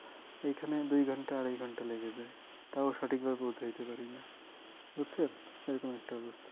এইখানে দুই ঘন্টা আড়াই ঘন্টা লেগে যায় তাও সঠিক ভাবে পৌঁছাতে পারিনা বুঝছো এই রকম একটা অবস্থা